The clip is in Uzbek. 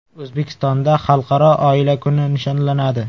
O‘zbekistonda Xalqaro oila kuni nishonlanadi.